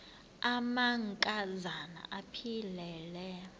amanka zana aphilele